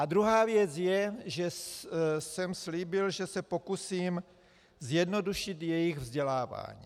A druhá věc je, že jsem slíbil, že se pokusím zjednodušit jejich vzdělávání.